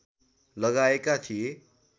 लागाएका थिए